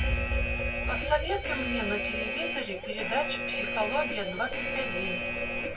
посоветуй мне на телевизоре передачу психология двадцать один